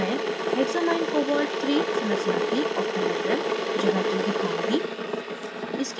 अब मैं hexamminecobalt iii संरचना की octahedral geometry दिखाऊँगी